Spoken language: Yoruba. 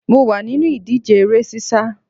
Mo wà nínú ìdíje eré sísá